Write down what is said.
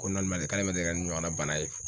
Ko k'ale ma deli ka ɲɔgɔnna bana ye